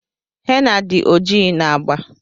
henna did oji na agba.